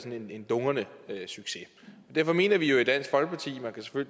en dundrende succes derfor mener vi jo i dansk folkeparti